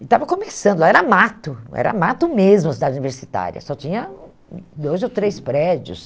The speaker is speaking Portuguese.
E estava começando, lá era mato, era mato mesmo a cidade universitária, só tinha dois ou três prédios.